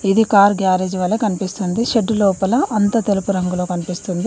ఇది car garage వలె కన్పిస్తుంది షెడ్డు లోపల అంతా తెలుపు రంగులో కన్పిస్తుంది.